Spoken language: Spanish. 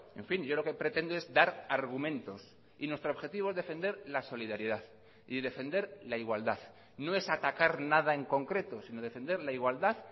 en fin yo lo que pretendo es dar argumentos y nuestro objetivo es defender la solidaridad y defender la igualdad no es atacar nada en concreto sino defender la igualdad